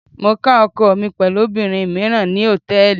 Mo ká ọkọ mi pẹ̀lú obìnrin míràn ní Hòtẹ́lìì.